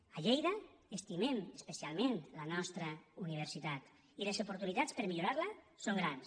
a lleida estimem especialment la nostra universitat i les oportunitats per millorar la són grans